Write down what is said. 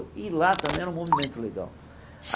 E lá também era um movimento legal.